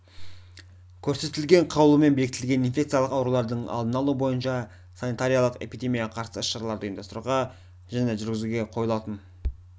көрсетілген қаулымен бекітілген инфекциялық аурулардың алдын алу бойынша санитариялық-эпидемияға қарсы іс-шараларды ұйымдастыруға және жүргізуге қойылатын